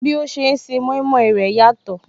Bí ó ṣe ń se mọimọi rẹ̀ yàtọ̀